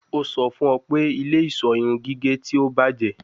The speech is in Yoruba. O sọ fun ọ pe ile-iṣọ irun gige ti o bajẹ